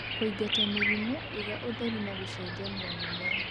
Kũingata mĩrimũ iga ũtheru na gũcenjania mĩmera .